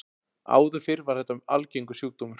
Áður fyrr var þetta mjög algengur sjúkdómur.